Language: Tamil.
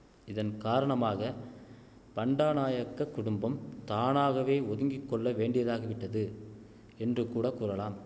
இதன் காரணமாக பண்டா நாயக்கக் குடும்பம் தானாகவே ஒதுங்கி கொள்ளவேண்டியதாகிவிட்டது என்று கூட கூறலாம்